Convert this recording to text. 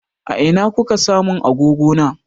A ina kuka sa mun agogo na?